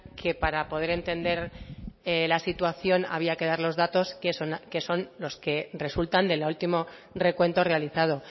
que para poder entender la situación había que dar los datos que son los que resultan del último recuento realizado